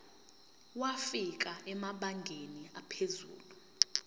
wafika emabangeni aphezulu